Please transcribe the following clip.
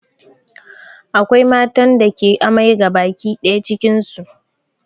Akwai matan da ke amai gabaki ɗaya cikin su